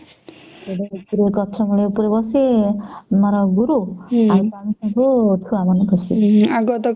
ଗଛ ମୂଳେ ରେ ବସି ମାନେ ଗୁରୁ ଆମେ ଯାଉଥିଲୁ ଛୁଆ ମନକୁ ଖୁସି